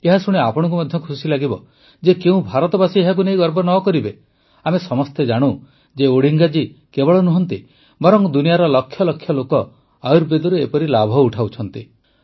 ଏହାଶୁଣି ଆପଣଙ୍କୁ ମଧ୍ୟ ଖୁସି ଲାଗିବ ଯେ କେଉଁ ଭାରତବାସୀ ଏହାକୁ ନେଇ ଗର୍ବ ନ କରିବେ ଆମେ ସମସ୍ତେ ଜାଣୁ ଯେ ଓଡ଼ିଙ୍ଗା ଜୀ କେବଳ ନୁହନ୍ତି ବରଂ ଦୁନିଆର ଲକ୍ଷ ଲକ୍ଷ ଲୋକ ଆୟୁର୍ବେଦରୁ ଏପରି ଲାଭ ଉଠାଉଛନ୍ତି